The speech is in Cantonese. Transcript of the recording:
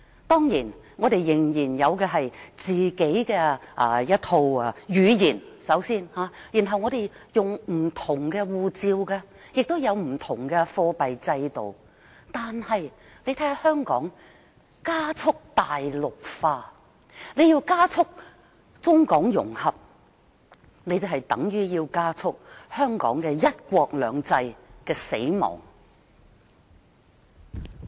雖然我們仍然有自己的語言、使用不同的護照、採用不同的貨幣制度，但香港正加速"大陸化"，而加速中港融合便等同加速香港"一國兩制"的死亡。